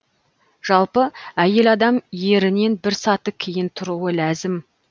жалпы әйел адам ерінен бір саты кейін тұруы ләзім